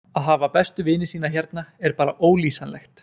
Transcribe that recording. Að hafa bestu vini sína hérna er bara ólýsanlegt.